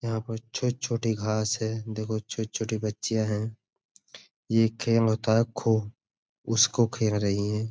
यहाँ पर छोटे-छोटे घास है। देखो छोटी-छोटी बच्चियाँ हैं। उसको खेल रही हैं।